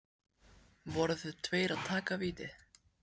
Voru þeir tveir að taka vítið?